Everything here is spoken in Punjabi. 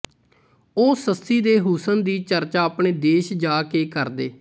ਉਹ ਸੱਸੀ ਦੇ ਹੁਸਨ ਦੀ ਚਰਚਾ ਆਪਣੇ ਦੇਸ਼ ਜਾ ਕੇ ਕਰਦੇ